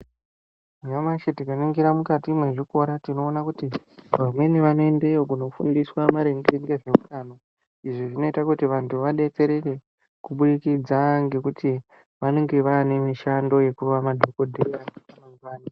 Nyamashi tingaringira mukati mwezvikora tinoona kuti vamweni vanoendeyo kunofundiswa maringe ngezveutano, izvi zvinoita kuti vantu vadetsereke kuburikidza ngekuti vanenge vaane mishando yekuva madhokoteya emangwani.